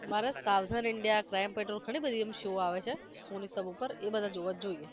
મારે Savdhaan india crime patrol ઘની બધી એમ show આવે છે સોની સબ ઉપર એ બધા જોવા હોઈ તો જોઈએ